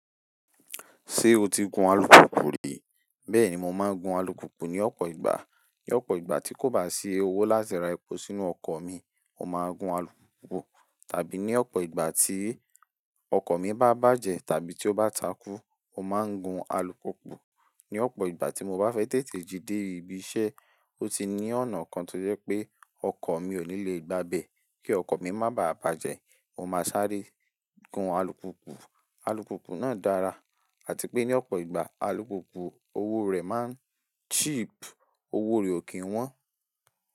Ṣé o ti gun alùpùpù rí? Bẹ́ẹ̀ni, mo máa ń gun alùpùpù ní ọ̀pọ̀ ìgbà. Ní ọ̀pọ̀ ìgbà tí kò bá sí owó láti ra epo sínú ọkọ̀ mi, mo máa gun alùpo Tàbí ní ọ̀pọ̀ ìgbà tí ọkọ̀ mi bá bàjẹ́ tàbí tí ó bá takú, mo máa ń gun alùpùpù. Ní ọ̀pọ̀ ìgbà tí mo bá fẹ́ tètè jí dé ibiṣẹ́, ó ti ní ọ̀nà kan tó jẹ́ pé ọkọ̀ mi ò ní lè gbá bẹ̀. Kí ọkọ̀ mi má bàa bàjẹ́, mo máa sáré gun alùpùpù. Alùpùpù náà dára àti pé ní ọ̀pọ̀ ìgbà alùpùpù, owó rẹ̀ máa ń cheap. Owó rẹ̀ ò kí ń wọ́n.